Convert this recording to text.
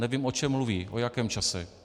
Nevím, o čem mluví, o jakém čase.